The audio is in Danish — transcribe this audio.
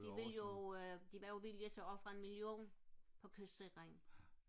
de vil jo de var jo villige til at ofre en million på kystsikring